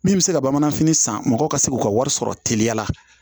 Min bɛ se ka bamananfini san mɔgɔ ka se k'u ka wari sɔrɔ teliya la